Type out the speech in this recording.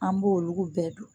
An b'olu bɛɛ don